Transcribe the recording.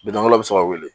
Bitɔn wɛrɛ bɛ se ka wele